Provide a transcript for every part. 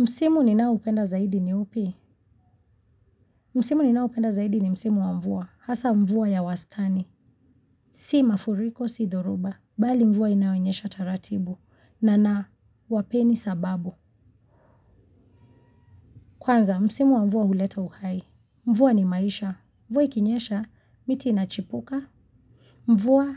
Msimu ninaoupenda zaidi ni upi? Msimu ninaopenda zaidi ni msimu wa mvua, hasa mvua ya wastani, si mafuriko, si dhoruba, bali mvua inayonyesha taratibu na nawapeni sababu. Kwanza, msimu wa mvua huleta uhai. Mvua ni maisha. Mvua ikinyesha, miti inachipuka. Mvua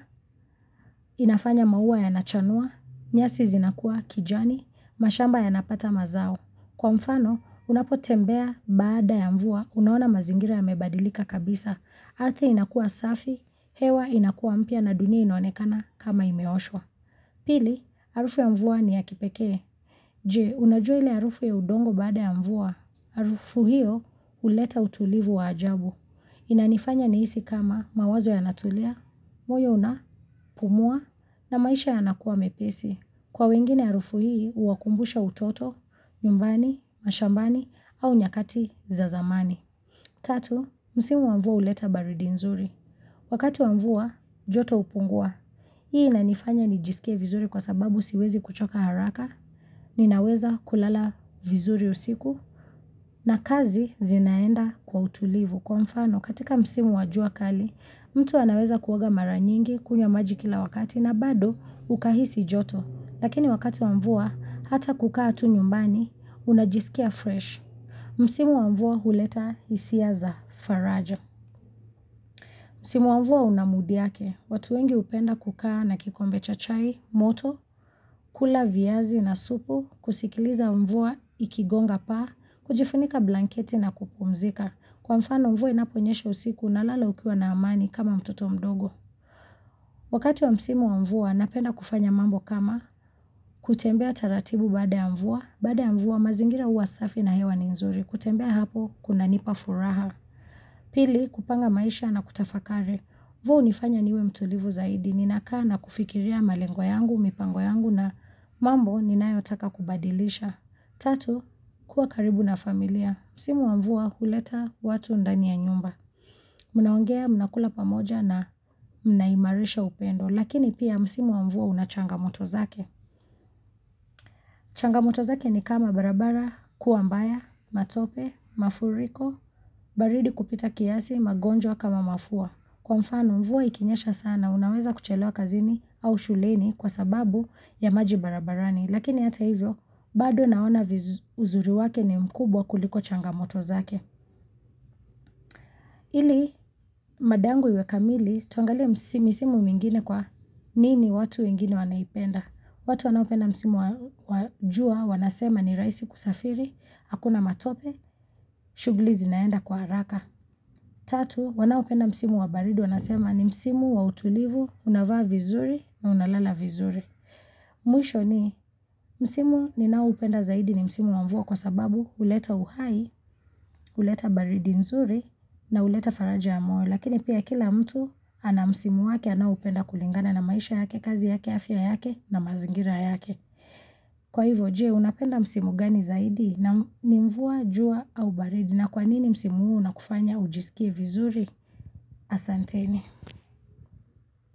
inafanya maua yanachanua, nyasi zinakua kijani, mashamba yanapata mazao. Kwa mfano, unapotembea baada ya mvua, unaona mazingira yamebadilika kabisa. Ardhi inakua safi, hewa inakua mpya na dunia inaonekana kama imeoshwa. Pili, harufu ya mvua ni ya kipekee. Je, unajua ile harufu ya udongo baada ya mvua. Harufu hiyo, huleta utulivu wa ajabu. Inanifanya nihisi kama mawazo yanatulia, moyo unapumua, na maisha yanakuwa mepesi. Kwa wengine harufu hii, huwakumbusha utoto, nyumbani, mashambani, au nyakati za zamani. Tatu, msimu wa mvua huleta baridi nzuri. Wakati wa mvua, joto hupungua. Hii inanifanya nijisikie vizuri kwasababu siwezi kuchoka haraka, ninaweza kulala vizuri usiku, na kazi zinaenda kwa utulivu. Kwa mfano, katika msimu wajua kali, mtu anaweza kuoga mara nyingi, kunywa maji kila wakati na bado, ukahisi joto. Lakini wakati wa mvua, hata kukaa tu nyumbani, unajisikia fresh. Msimu wa mvua huleta hisia za faraja. Msimu wa mvua una mood yake watu wengi hupenda kukaa na kikombe cha chai moto, kula viazi na supu, kusikiliza mvua ikigonga paa, kujifunika blanketi na kupumzika. Kwa mfano mvua inaponyesha usiku unalala ukiwa na amani kama mtoto mdogo. Wakati wa msimu wa mvua, napenda kufanya mambo kama kutembea taratibu bade ya mvua. Baada ya mvua, mazingira huasafi na hewa ni nzuri. Kutembea hapo, kuna nipa furaha. Pili, kupanga maisha na kutafakare. Though hunifanya niwe mtulivu zaidi. Ninakaa na kufikiria malengo yangu, mipango yangu na mambo ninayotaka kubadilisha. Tatu, kuwa karibu na familia, msimu wamvua huleta watu ndani ya nyumba. Mnaongea mnakula pamoja na mnaimarisha upendo, lakini pia msimu wa mvua una changa moto zake. Changamoto zake ni kama barabara, kuwa mbaya, matope, mafuriko, baridi kupita kiasi, magonjwa kama mafua. Kwa mfano, mvua ikinyesha sana, unaweza kuchelewa kazini au shuleni kwa sababu ya maji barabarani. Lakini ata hivyo, bado naona uzuri wake ni mkubwa kuliko changamoto zake. Ili, mada yangu iwe kamili, tuangalie misimu mingine kwanini watu wengine wanaipenda. Watu wanaopenda msimu wa jua wanasema ni rahisi kusafiri, hakuna matope, shughuli zinaenda kwa haraka. Tatu, wanaopenda msimu wa baridi wanasema ni msimu wa utulivu, unavaa vizuri na unalala vizuri. Mwisho ni, msimu ninaoupenda zaidi ni msimu wamvua kwa sababu huleta uhai, huleta baridi nzuri na huleta faraja ya moyo Lakini pia kila mtu ana msimu wake anaoupenda kulingana na maisha yake, kazi yake, afya yake na mazingira yake. Kwa hivyo, je, unapenda msimu gani zaidi ni mvua, jua au baridi na kwanini msimu huu unakufanya ujisikie vizuri? Asanteni.